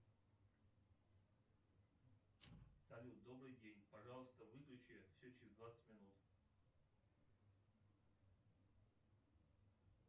салют добрый день пожалуйста выключи все через двадцать минут